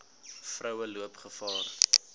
vroue loop gevaar